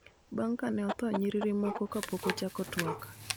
bang� ka ne otho nyiriri moko kapok ochak twak.